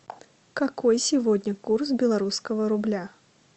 какой сегодня курс белорусского рубля